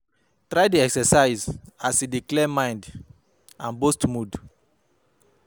Try dey exercise as e dey help clear mind and boost mood